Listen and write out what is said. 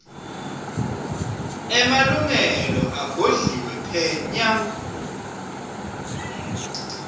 emalungelo agodliwe phenya